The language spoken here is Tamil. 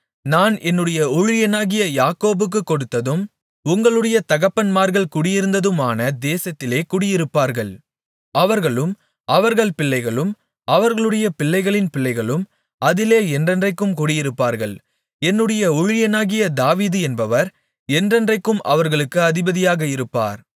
நான் என்னுடைய ஊழியனாகிய யாக்கோபுக்குக் கொடுத்ததும் உங்களுடைய தகப்பன்மார்கள் குடியிருந்ததுமான தேசத்திலே குடியிருப்பார்கள் அவர்களும் அவர்கள் பிள்ளைகளும் அவர்களுடைய பிள்ளைகளின் பிள்ளைகளும் அதிலே என்றென்றைக்கும் குடியிருப்பார்கள் என்னுடைய ஊழியனாகிய தாவீது என்பவர் என்றென்றைக்கும் அவர்களுக்கு அதிபதியாக இருப்பார்